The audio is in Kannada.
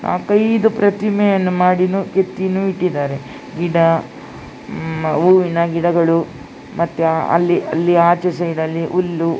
ಐದು ಪ್ರತಿಮೆಯನ್ನು ಮಾದಿನೂ ಕೆತ್ತಿನೂ ಇಟ್ಟಿದ್ದಾರೆ ಗಿಡ ಹ್ಮ್ ಹೂವಿನ ಗಿಡಗಳು ಮತ್ತೆ ಅಲ್ಲಿ ಅಲ್ಲಿ ಆಚೆ ಸೈಡ್ನಲ್ಲಿ ಹುಲ್ಲು --